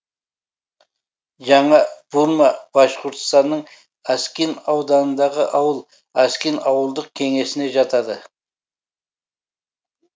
жаңа бурма башқұртстанның аскин ауданындағы ауыл аскин ауылдық кеңесіне жатады